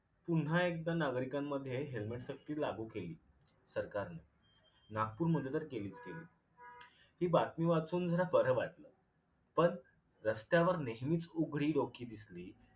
पुन्हा एकदा नागरिकांमध्ये helmet सक्ती लागू केली सरकारनी. नागपूरमध्ये तर केलीच केली. हि बातमी वाचून जरा बर वाटल. पन रस्त्यावर नेहीमीच उघडी डोकी दिसली.